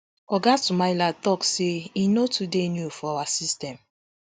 oga sumaila tok say e no too dey new for our system